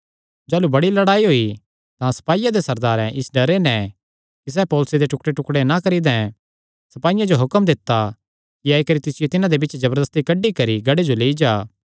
जाह़लू बड़ी लड़ाई होई तां सपाईयां दे सरदारैं इस डरे नैं कि सैह़ पौलुसे दे टुकड़ेटुकड़े ना करी दैं सपाईयां जो हुक्म दित्ता कि आई करी तिसियो तिन्हां दे बिच्चे ते जबरदस्ती कड्डी करी गढ़े जो लेई जा